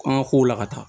An ka kow la ka taa